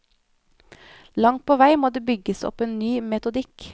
Langt på vei må det bygges opp en ny metodikk.